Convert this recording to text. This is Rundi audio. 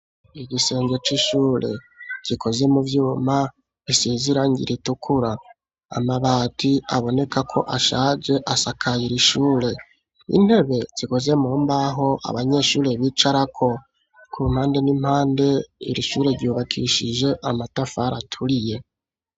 Igisenge c'ishure gikoze mu vyuma isize irangi ritukura, amabati aboneka ko ashaje asakaye iri ishure. Intebe zikoze mu mbaho abanyeshuri bicarako. Ku mpande n'impande iri shure ryubakishije amatafari aturiye.